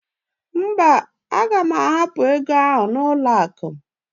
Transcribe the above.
Mba, aga m ahapụ ego ahụ n'ụlọakụ.